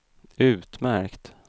utmärkt